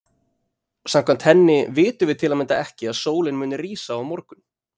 Samkvæmt henni vitum við til að mynda ekki að sólin muni rísa á morgun.